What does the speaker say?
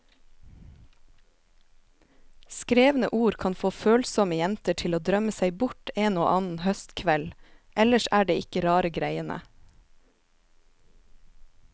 Skrevne ord kan få følsomme jenter til å drømme seg bort en og annen høstkveld, ellers er det ikke rare greiene.